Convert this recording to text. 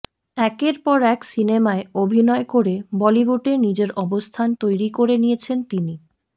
একের পর এক সিনেমায় অভিনয় করে বলিউডে নিজের অবস্থান তৈরি করে নিয়েছেন তিনি